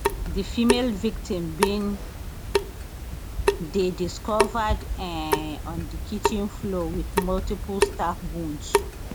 di female victim bin dey discovered um on di kitchen floor with multiple stab wounds